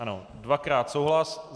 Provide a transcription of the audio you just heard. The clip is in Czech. Ano, dvakrát souhlas.